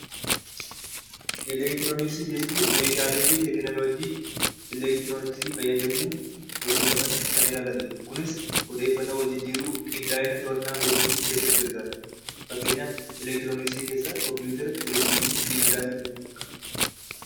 Elektirooniksii jechuun meeshaalee fi teekinooloojii elektirooniksii fayyadamuun hojjatan kan ilaallatudha. kunis odeeffannoo wal jijjiiruu qindaa'ina to'annaa jijjiiruuruuf gargaara. Elektirooniksii keessaa kompiitara, televezyiinii fi bilbilaa fi kana fakkaatanidha.